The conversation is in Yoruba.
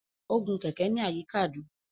O gun kẹkẹ ní àyíká àdúgbò.